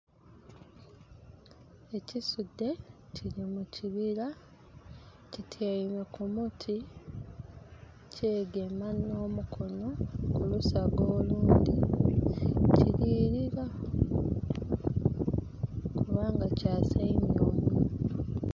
Ekisuudhe kiri mukibira kityaime kumuti kyegema no mukonho kulusaga olundhi kirilira kubanga kyasaimya omunhwa.